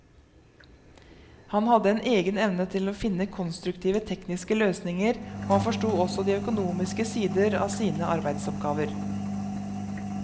Han hadde en egen evne til å finne konstruktive tekniske løsninger, og han forsto også de økonomiske sider av sine arbeidsoppgaver.